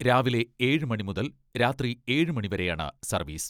രാവിലെ ഏഴ് മണി മുതൽ രാത്രി ഏഴ് മണി വരെയാണ് സർവ്വീസ്.